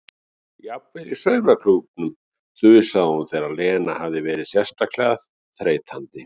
Jafnvel í saumaklúbbnum þusaði hún þegar Lena hafði verið sérstaklega þreytandi.